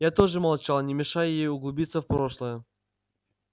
я тоже молчал не мешая ей углубиться в прошлое